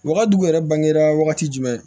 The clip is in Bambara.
Wagati yɛrɛ bangera wagati jumɛn